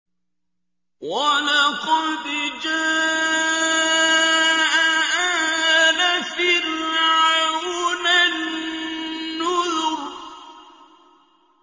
وَلَقَدْ جَاءَ آلَ فِرْعَوْنَ النُّذُرُ